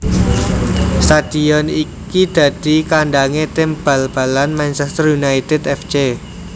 Stadhion iki dadi kandhangé tim bal balan Manchester United F C